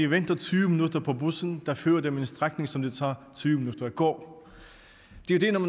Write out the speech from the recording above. venter tyve minutter på bussen der fører dem ad en strækning som det tager tyve minutter at gå